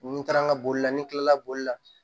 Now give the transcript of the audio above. Ni n taara n ka boli la ni n kilala boli la